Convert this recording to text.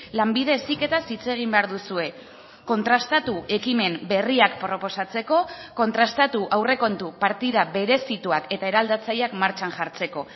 lanbide heziketaz hitz egin behar duzue kontrastatu ekimen berriak proposatzeko kontrastatu aurrekontu partida berezituak eta eraldatzaileak martxan jartzeko